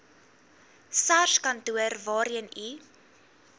sarskantoor waarheen u